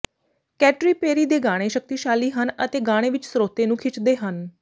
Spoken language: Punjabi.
ਕੈਟਰੀ ਪੇਰੀ ਦੇ ਗਾਣੇ ਸ਼ਕਤੀਸ਼ਾਲੀ ਹਨ ਅਤੇ ਗਾਣੇ ਵਿੱਚ ਸਰੋਤੇ ਨੂੰ ਖਿੱਚਦੇ ਹਨ